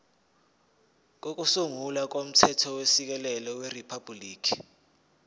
kokusungula komthethosisekelo weriphabhuliki